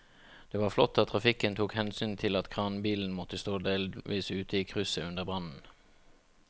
Det var flott at trafikken tok hensyn til at kranbilen måtte stå delvis ute i krysset under brannen.